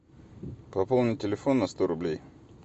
пополни телефон на сто рублей